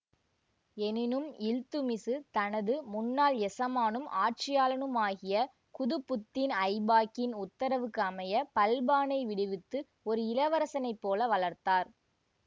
எனினும் இல்த்துத்மிசு தனது முன்னாள் எசமானும் ஆட்சியாளனுமாகிய குதுப்புத்தீன் ஐபாக்கின் உத்தரவுக்கு அமைய பல்பானை விடுவித்து ஒரு இளவரசனைப்போல வளர்த்தார்